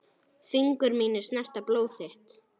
Fingur mínir snerta blóð þitt.